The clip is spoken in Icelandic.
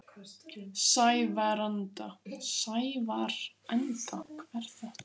Sævarenda